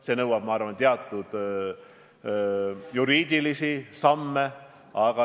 See nõuab, ma arvan, ka teatud juriidilisi samme.